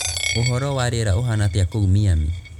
ūhoro wa rīera ūhana atīa kūu miami